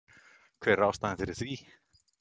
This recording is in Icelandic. Hver er ástæðan fyrir því?